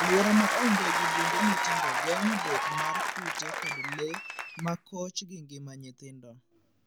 Aluora ma onge gi bunge matindo geng'o bet mar kute kod lee ma koch gi ngima nyithindo.